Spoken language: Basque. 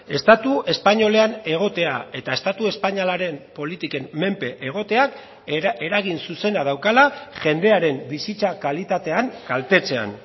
estatu espainolean egotea eta estatu espainolaren politiken menpe egoteak eragin zuzena daukala jendearen bizitza kalitatean kaltetzean